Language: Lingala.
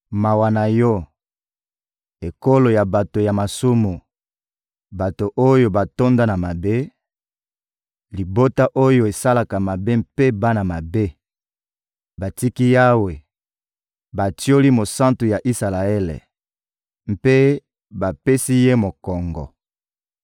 Mawa na yo, ekolo ya bato ya masumu, bato oyo batonda na mabe, libota oyo esalaka mabe mpe bana mabe! Batiki Yawe, batioli Mosantu ya Isalaele mpe bapesi Ye mokongo.